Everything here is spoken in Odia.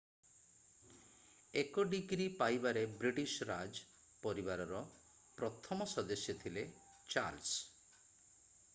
ଏକ ଡିଗ୍ରୀ ପାଇବାରେ ବ୍ରିଟିଶ ରାଜ ପରିବାରର ପ୍ରଥମ ସଦସ୍ୟ ଥିଲେ ଚାର୍ଲସ